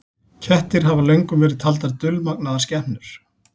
Kettir hafa löngum verið taldar dulmagnaðar skepnur.